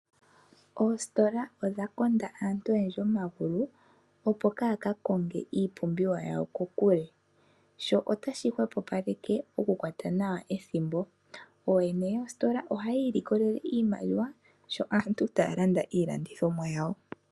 Oositola odhakonda aantu oyendji omagulu opo kaakakonge iipumbiwa yawo kokule. sho otashi hwepopaleke ethimbo nooyene yoositola ohayiimone iimaliwa uuna aantu taalanda iilongithomwa yawo.